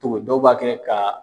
Togo dɔw b'a kɛ ka.